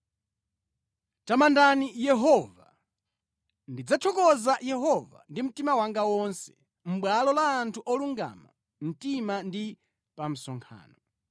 Tamandani Yehova. Ndidzathokoza Yehova ndi mtima wanga wonse mʼbwalo la anthu olungama mtima ndi pa msonkhano.